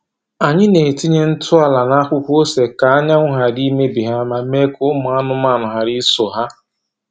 Anyị na-etinye ntụ ala n’akwụkwọ ose ka anyanwụ ghara imebi ha ma mee ka ụmụ anụmanụ ghara iso ha.